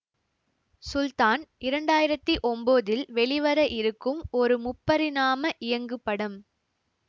சுல்தான் இரண்டாயிரத்தி ஒம்போதில் வெளிவர இருக்கும் ஒரு முப்பரிணாம இயங்குபடம்